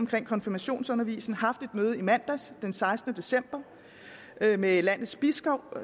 med konfirmationsundervisningen haft et møde i mandags den sekstende december med landets biskopper